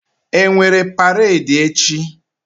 E nwere paredi echi?